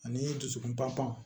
Ani dusukun pan pan